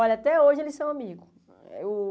Olha, até hoje eles são amigos. O